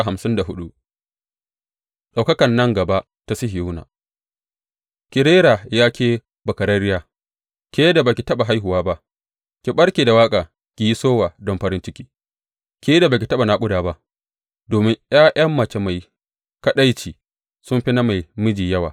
Ɗaukakar nan gaba ta Sihiyona Ki rera, ya ke bakararriya, ke da ba ki taɓa haihuwa ba; ki ɓarke da waƙa, ki yi sowa don farin ciki, ke da ba ki taɓa naƙuda ba; domin ’ya’yan mace mai kaɗaici sun fi na mai miji yawa,